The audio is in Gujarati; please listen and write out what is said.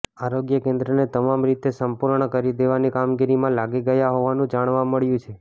આરોગ્ય કેન્દ્રને તમામ રીતે સંપૂર્ણ કરી દેવાની કામગીરીમાં લાગી ગયા હોવાનું જાણવા મળ્યું છે